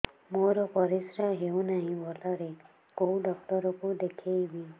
ମୋର ପରିଶ୍ରା ହଉନାହିଁ ଭଲରେ କୋଉ ଡକ୍ଟର କୁ ଦେଖେଇବି